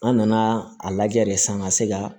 An nana a lajɛ de san ka se ka